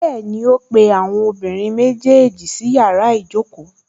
Bẹ́ẹ̀ni, ó pe àwọn ọmọbìnrin méjèèjì sí yàrá ìjókòó